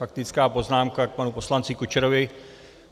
Faktická poznámka k panu poslanci Kučerovi.